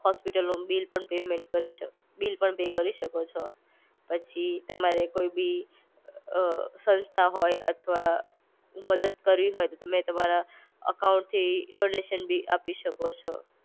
હોસ્પિટલનો બિલ પણ પેમેન્ટ કરી શકો, બિલ પણ પે કરી શકો છો. પછી તમારે કઈ બી અ સંસ્થા હોય અથવા મદદ કરવી હોય તો તમે તમારા અકાઉન્ટથી ડોનેશન બી આપી શકો છો.